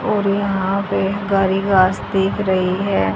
और यहां पे दिख रही है।